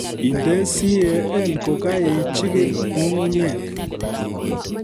Inde CAN kokaijikil nyung'unyek